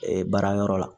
baara yɔrɔ la